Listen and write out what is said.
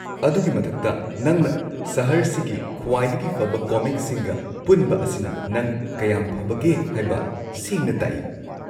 ꯑꯗꯨꯒꯤ ꯃꯊꯛꯇ, ꯅꯪꯅ ꯁꯍꯔꯁꯤꯒꯤ ꯈ꯭ꯋꯥꯏꯗꯒꯤ ꯐꯕ ꯀꯣꯃꯤꯛꯁꯤꯡꯒ ꯄꯨꯟꯕ ꯑꯁꯤꯅ ꯅꯪ ꯀꯌꯥꯝ ꯐꯕꯒꯦ ꯍꯥꯏꯕ ꯁꯦꯡꯅ ꯇꯥꯛꯏ꯫꯫